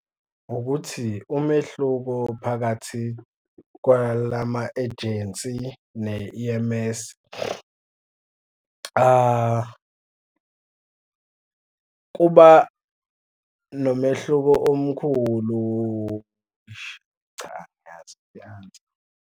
Ukuthi umehluko phakathi kwalama-ejensi ne-E_M_S kuba nomehluko omkhulu eish cha, angiyazi le answer.